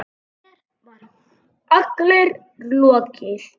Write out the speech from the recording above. Mér var allri lokið.